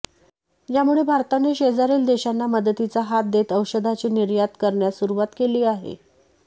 यामुळे भारताने शेजारील देशांना मदतीचा हात देत औषधाची निर्यात करण्यास सुरुवात केली आहे